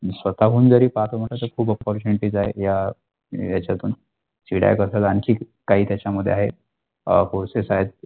स्वतःहून जरी पाहत आता तर खूपच opportunity ज्या या मिळेल याच्यातून आमची काही त्याच्यामध्ये आहे अ courses आहे.